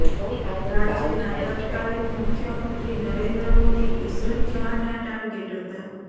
રાજ્યના તત્કાલીન મુખ્યમંત્રી નરેન્દ્ર મોદી ઈશરત જહાંના ટાર્ગેટ હતા